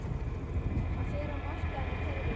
Hann fer á markaðinn í hverri viku.